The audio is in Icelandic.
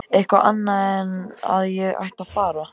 Eitthvað annað en að ég ætti að fara.